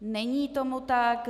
Není tomu tak.